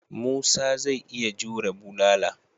Musa zai iya jure bulala.